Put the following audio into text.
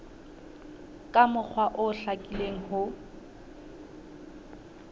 ka mokgwa o hlakileng ho